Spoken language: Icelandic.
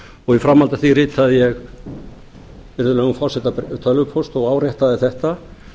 og í framhaldi af því ritaði ég virðulegum forseta tölvupóst og áréttaði þetta